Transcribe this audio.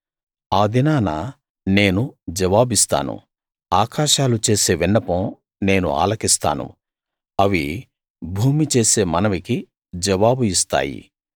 ఆ దినాన నేను జవాబిస్తాను ఆకాశాలు చేసే విన్నపం నేను ఆలకిస్తాను అవి భూమి చేసే మనవికి జవాబు ఇస్తాయి